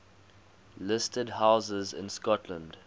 listed houses in scotland